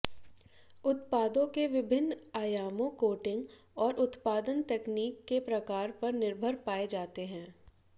उत्पादों के विभिन्न आयामों कोटिंग और उत्पादन तकनीक के प्रकार पर निर्भर पाए जाते हैं